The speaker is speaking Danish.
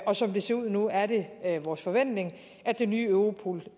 og som det ser ud nu er det vores forventning at det nye europol